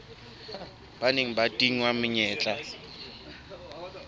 ba neng ba tingwa menyetla